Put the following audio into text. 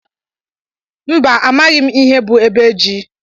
Mba amaghị m ihe bụ ebe ji.